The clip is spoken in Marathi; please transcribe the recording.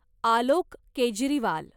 आलोक केजरीवाल